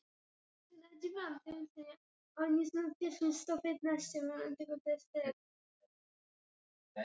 Þá deyjum við bara.